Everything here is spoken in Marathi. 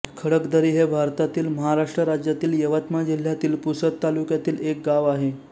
खडकदरी हे भारतातील महाराष्ट्र राज्यातील यवतमाळ जिल्ह्यातील पुसद तालुक्यातील एक गाव आहे